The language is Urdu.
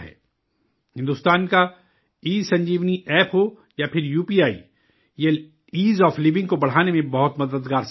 ہندوستان کا ای سنجیونی ایپ ہو یا پھر یو پی آئی، یہ ایز آف لیونگ کو بڑھانے میں بہت مددگار ثابت ہوئے ہیں